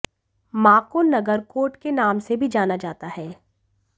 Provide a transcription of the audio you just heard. मां को नगरकोट के नाम से भी जाना जाता है